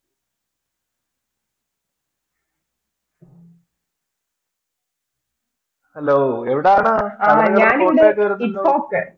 Hello എവിടാണ്